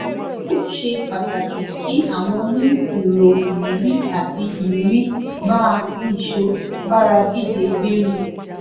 ó ṣe pàtàkì kí àwọn ní èrò ìrírí àti ìrírí bá a nìṣó bára díje gbèrú